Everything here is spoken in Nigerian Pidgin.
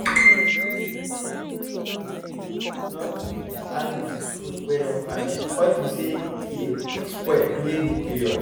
no too give animals food wey don ferment unto say e dey quick spoil during serious heat period